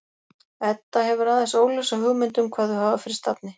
Edda hefur aðeins óljósa hugmynd um hvað þau hafa fyrir stafni.